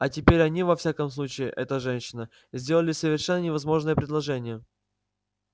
а теперь они во всяком случае эта женщина сделали совершенно невозможное предложение